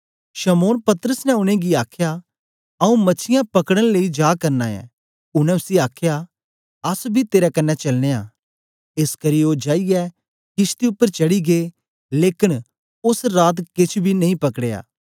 शमौन पतरस ने उनेंगी आखया आऊँ मछीयां पकड़न लेई जा करना ऐं उनै उसी आखया अस बी तेरे कन्ने चलनयां एसकरी ओ जाईयै किशती उपर चढ़ी गै लेकन ओंस राती केछ बी नेई पकडया